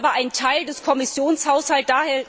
Das ist aber ein Teil des Kommissionshaushalts.